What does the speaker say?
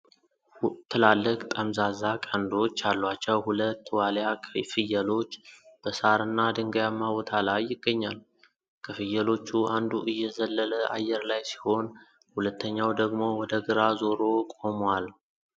ትላልቅ ጠምዛዛ ቀንዶች ያሏቸው ሁለት ዋልያ ፍየሎች በሳርና ድንጋያማ ቦታ ላይ ይገኛሉ። ከፍየሎቹ አንዱ እየዘለለ አየር ላይ ሲሆን፣ ሁለተኛው ደግሞ ወደ ግራ ዞሮ ቆሟል።